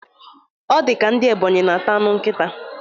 Ọ dika ndị Ebọnyi na-ata anụ nkịta